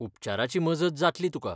उपचाराची मजत जातली तुका.